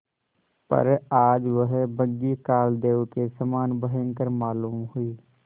पर आज वह बग्घी कालदेव के समान भयंकर मालूम हुई